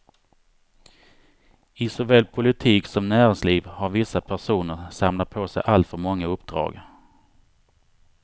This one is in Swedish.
I såväl politik som näringsliv har vissa personer samlat på sig alltför många uppdrag.